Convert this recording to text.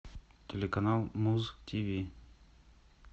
телеканал муз тв